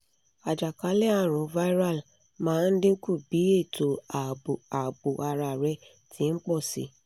ajakalẹ-arun viral maa n dinku bi eto aabo aabo ara rẹ ti n pọ si